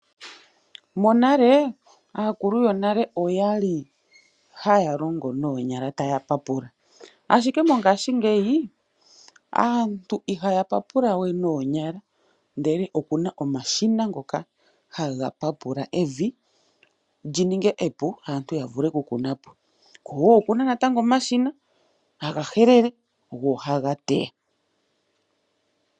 Monale aakulu yonale okwali haya longo noonyala taya papula ,ashike mongaashingeyi aantu ihaya papula we noonyala ndele okuna omashina ngoka haga papula evi lyininge epu aantu yavule okukunapo woo okuna natango omashina haga helele go ohaga teya .